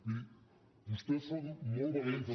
miri vostès són molt valents